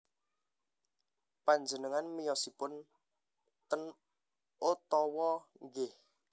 Panjenengan miyosipun ten Ottawa nggih